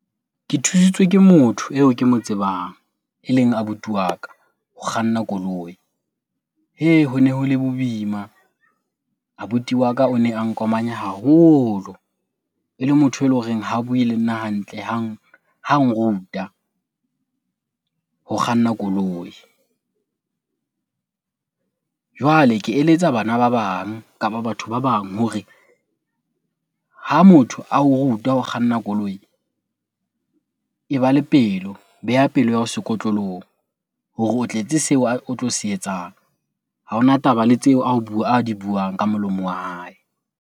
Ke thusitswe ke motho eo ke mo tsebang, eleng abuti wa ka ho kganna koloi. Hee hone ho le boima, abuti waka o ne a nkomanya haholo. Ele motho eloreng ha bue le nna hantle ha nruta ho kganna koloi. Jwale ke eletsa bana ba bang kapa batho ba bang hore ha motho ao ruta ho kganna koloi e ba le pelo, beha pelo ya hao sekotlolong hore o tletse seo o tlo se etsang. Ha ona taba le tseo a di buang ka molomo wa hae.